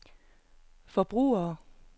forbrugere